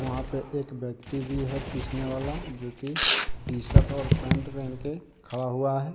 वहां पे एक व्यक्ति भी है पीसने वाला जो की टी शर्ट और पैंट पहन के खड़ा हुआ है।